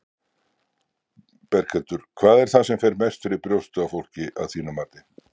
Berghildur: Hvað er það sem mest fer fyrir brjóstið á fólki, að þínu mati?